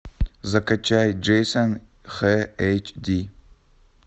закачай джейсон х эйч ди